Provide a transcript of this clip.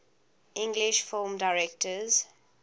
english film directors